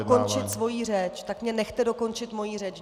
Ano, dokončit svou řeč, tak mě nechte dokončit moji řeč.